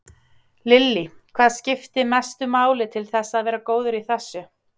Lillý: Hvað skipti mestu máli til þess að vera góður í þessu?